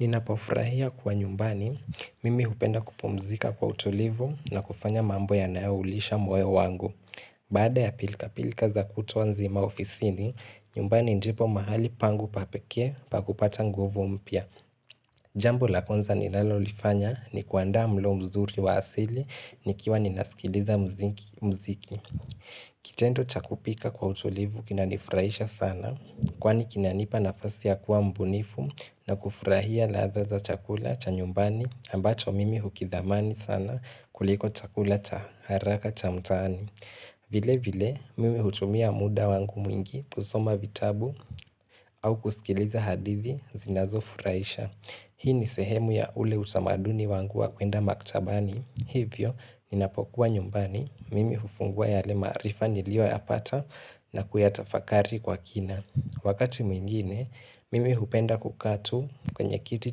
Nina pofurahia kwa nyumbani, mimi hupenda kupumzika kwa utulivu na kufanya mambo yanayoulisha mwoyo wangu. Bada ya pilka pilka za kutwa nzima maofisini, nyumbani ndipo mahali pangu papekee pa kupata nguvu umpya. Jambo la kwanza nilalo lifanya ni kuanda mlo mzuri wa asili nikiwa ninasikiliza muziki. Kitendo chakupika kwa utulivu kina nifurahisha sana Kwani kinanipa nafasi ya kuwa mbunifu na kufurahia ladha chakula chanyumbani ambacho mimi hukidhamani sana kuliko chakula cha haraka cha mtaani vile vile mimi hutumia muda wangu mwingi kusoma vitabu au kusikiliza hadithi zinazo furahisha Hii ni sehemu ya ule utamaduni wangu wa kuenda maktabani Hivyo, ninapokuwa nyumbani, mimi hufungua yale maarifa niliyo ya pata na kuyatafakari kwa kina Wakati mwingine, mimi hupenda kukaatu kwenye kiti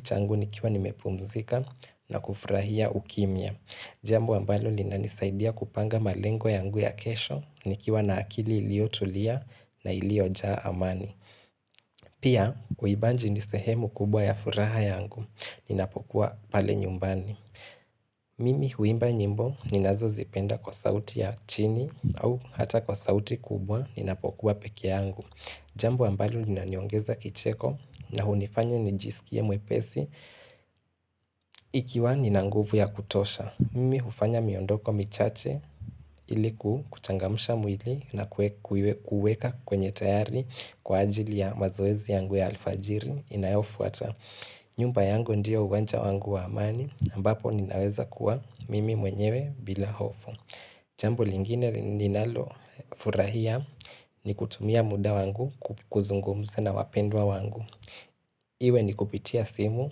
changu nikiwa nimepumzika na kufurahia ukimya Jambo ambalo lina nisaidia kupanga malengo yangu ya kesho, nikiwa na akili iliyotulia na iliojaa amani Pia, uibanji nisehemu kubwa ya furaha yangu, ninapokuwa pale nyumbani Mimi huimba nyimbo ninazo zipenda kwa sauti ya chini au hata kwa sauti kubwa ninapokuwa pekee yangu Jambo ambalo linaniongeza kicheko na hunifanya nijisikie mwepesi ikiwa ninanguvu ya kutosha Mimi hufanya miondoko michache iliku kuchangamusha mwili na kuweka kwenye tayari kwa ajili ya mazoezi yangu ya alfajiri inayofuata nyumba yangu ndiyo uwanja wangu waamani ambapo ninaweza kuwa mimi mwenyewe bila hofu Jambo lingine ninalo furahia ni kutumia muda wangu kuzungumza na wapendwa wangu Iwe ni kupitia simu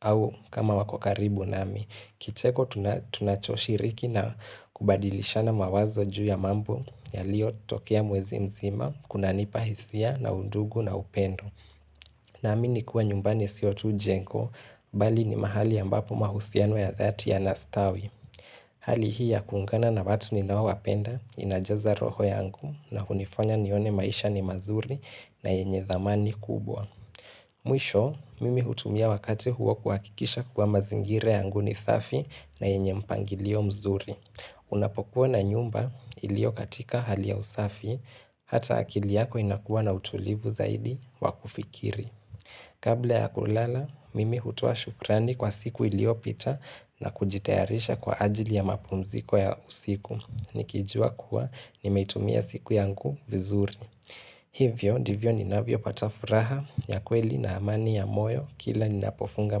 au kama wakokaribu nami Kicheko tunachoshiriki na kubadilisha na mawazo juu ya mambo yalio tokea mwezi mzima kunanipahisia na udugu na upendo na amini kuwa nyumbani sio tu jengo, bali ni mahali ambapo mahusiano ya dhati ya nastawi. Hali hii ya kungaana na watu ninaowapenda, inajaza roho yangu, na hunifanya nione maisha ni mazuri na yenye zamani kubwa. Mwisho, mimi hutumia wakati huo kuhakikisha kuwa mazingire yangu ni safi na yenye mpangilio mzuri. Unapokuwa na nyumba ilio katika hali ya usafi Hata akili yako inakuwa na utulivu zaidi wakufikiri Kabla ya kulala, mimi hutoa shukrani kwa siku iliyo pita na kujitayarisha kwa ajili ya mapumziko ya usiku Nikijua kuwa nimeitumia siku yangu vizuri Hivyo, ndivyo ni navyo pata furaha ya kweli na amani ya moyo Kila ni napofunga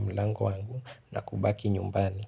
mlango wangu na kubaki nyumbani.